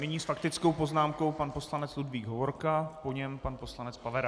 Nyní s faktickou poznámkou pan poslanec Ludvík Hovorka, po něm pan poslanec Pavera.